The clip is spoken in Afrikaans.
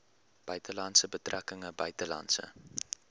buitelandse betrekkinge buitelandse